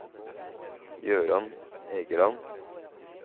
Jøran Egeland